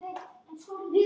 Og Sæma.